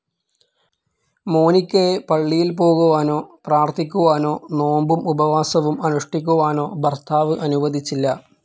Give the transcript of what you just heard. മോനിക്കയെ പള്ളിയിൽ പോകുവാനോ പ്രാർഥിക്കുവാനോ നോമ്പും ഉപവാസവും അനുഷ്ഠിക്കുവാനോ ഭർത്താവ് അനുവദിച്ചില്ല.